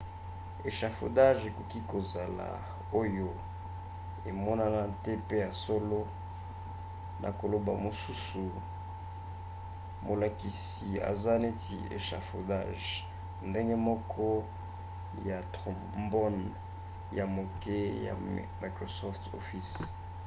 echafaudage ekoki kozala oyo emonana te mpe ya solo na koloba mosusu molakisi aza neti echafaudage ndenge moko ya trombone ya moke ya microsoft office